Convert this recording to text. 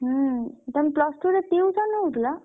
ହୁଁ ତମେ plus two ରେ tuition ହଉଥିଲ?